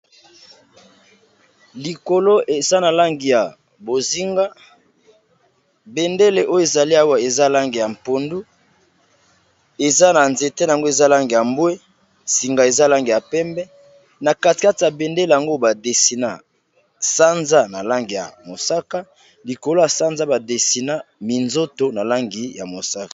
Likolo eza na langi ya bozinga bendele oyo ezali awa eza langi ya pondu eza na nzete nango eza langi ya mbwe singa eza langi ya pembe na katikati ya bendele yango ba desina sanza na langi ya mosaka likolo ya sanza ba desina minzoto na langi ya mosaka.